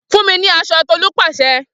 Fun mi ni aso Tolu pase